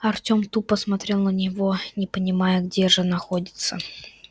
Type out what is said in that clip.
артём тупо смотрел на него не понимая где же находится